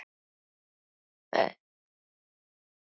Þeir brosa.